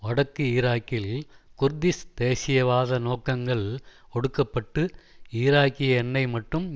வடக்கு ஈராக்கில் குர்திஷ் தேசியவாத நோக்கங்கள் ஒடுக்கப்பட்டு ஈராக்கிய எண்ணெய் மற்றும்